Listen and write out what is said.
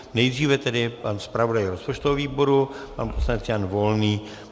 Nejdříve tedy pan zpravodaj rozpočtového výboru, pan poslanec Jan Volný.